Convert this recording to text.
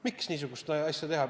Miks niisugust asja teha?